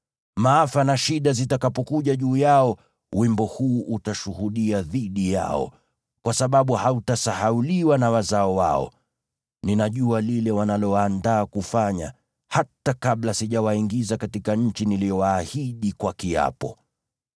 Maafa na shida zitakapokuja juu yao, wimbo huu utashuhudia dhidi yao, kwa sababu hautasahauliwa na wazao wao. Ninajua lile wanaloandaa kufanya, hata kabla sijawaingiza katika nchi niliyowaahidi kwa kiapo.”